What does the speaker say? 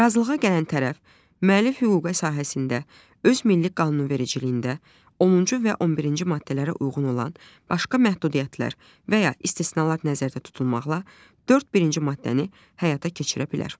Razılığa gələn tərəf, müəllif hüququ sahəsində öz milli qanunvericiliyində onuncu və 11-ci maddələrə uyğun olan başqa məhdudiyyətlər və ya istisnalar nəzərdə tutulmaqla, dörd birinci maddəni həyata keçirə bilər.